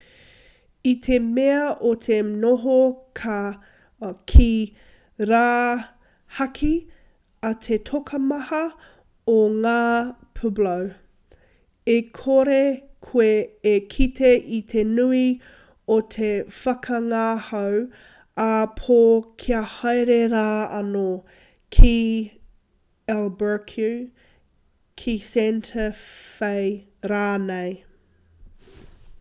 i te mea o te noho ki rāhaki a te tokomaha o ngā pueblo e kore koe e kite i te nui o te whakangahau ā-pō kia haere rā anō ki albuquerque ki santa fe rānei